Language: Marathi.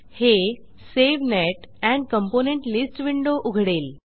हे save net and component list window उघडेल